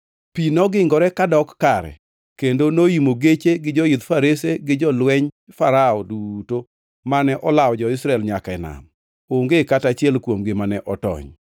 Pi nogingore kadok kare kendo noimo geche gi joidh farese gi jolweny Farao duto mane olawo jo-Israel nyaka e nam. Onge kata achiel kuomgi mane otony.